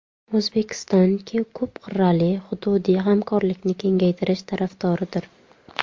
O‘zbekiston ko‘p qirrali hududiy hamkorlikni kengaytirish tarafdoridir.